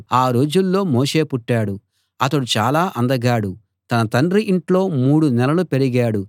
ఆ రోజుల్లో మోషే పుట్టాడు అతడు చాలా అందగాడు తన తండ్రి ఇంట్లో మూడు నెలలు పెరిగాడు